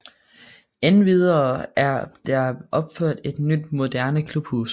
Endvidere er der opført et nyt moderne klubhus